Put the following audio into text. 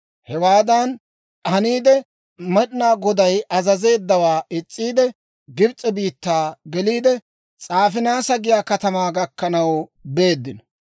Hewaadan haniide, Med'inaa Goday azazeeddawaa is's'iide, Gibs'e biittaa geliide, S'aafinaasa giyaa katamaa gakkanaw beeddino.